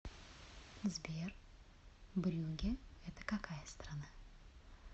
сбер брюгге это какая страна